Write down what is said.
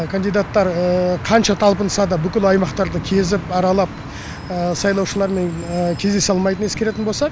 кандидаттар қанша талпынса да бүкіл аймақтарды кезіп аралап сайлаушылармен кездесе алмайтынын ескеретін болса